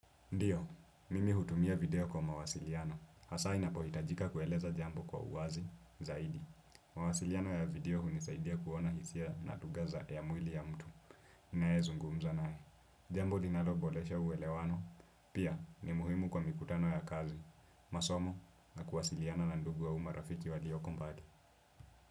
Ndiyo, mimi hutumia video kwa mawasiliano. Hasa inapohitajika kueleza jambo kwa uwazi, zaidi. Mawasiliano ya video hunisaidia kuona hisia na lugha za ya mwili ya mtu. Ninayezungumza naye. Jambo linaloboresha uwelewano. Pia, ni muhimu kwa mikutano ya kazi. Masomo, na kuwasiliana na ndugu au marafiki walioko mbali.